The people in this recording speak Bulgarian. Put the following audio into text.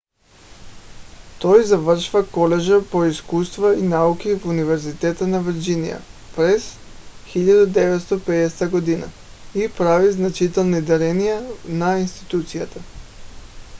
той завършва колежа по изкуства и науки в университета на вирджиния през 1950 г. и прави значителни дарения на институцията